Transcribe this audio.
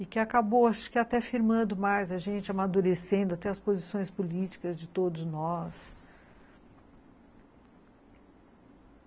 E que acabou até firmando mais a gente, amadurecendo até as posições políticas de todos nós.